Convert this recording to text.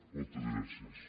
moltes gràcies